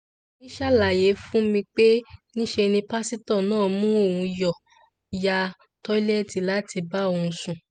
ọmọ mi ṣàlàyé fún mi pé níṣe ni pásítọ̀ máa mú òun yá lọ́tẹ̀ẹ̀lì láti bá òun sùn